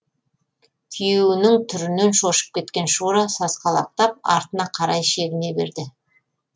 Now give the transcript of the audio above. күйеуінің түрінен шошып кеткен шура сасқалақтап артына қарай шегіне берді